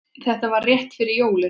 Þetta var rétt fyrir jólin.